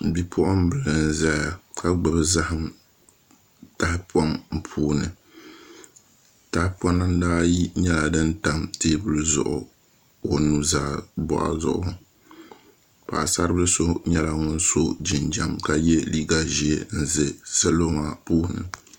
Bipuɣunbili n ʒɛya ka gbubi zaham tahapoŋ puuni tahapona ayi nyɛla din tam teebuli zuɣu o nuzaa boɣu zuɣu paɣasari bili so nyɛla ŋun so jinjɛm ka yɛ liiga ʒiɛ n ʒi salo maa puuni